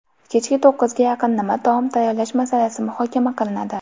Kechki to‘qqizga yaqin nima taom tayyorlash masalasi muhokama qilinadi.